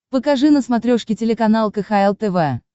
покажи на смотрешке телеканал кхл тв